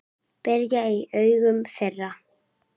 brigði í augum þeirra.